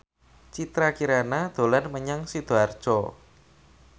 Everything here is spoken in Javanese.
Citra Kirana dolan menyang Sidoarjo